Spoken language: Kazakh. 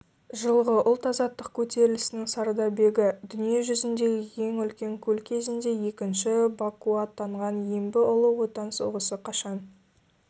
жылғы ұлт-азаттық көтерілісінің сардабегі дүниежүзіндегі ең үлкен көл кезінде екінші бакуатанған ембі ұлы отан соғысы қашан